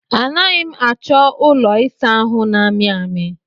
A naghị achọ ụlọ ịsa ahụ na-amị amị.